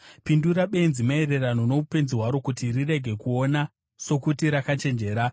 Pindura benzi maererano noupenzi hwaro, kuti rirege kuona sokuti rakachenjera.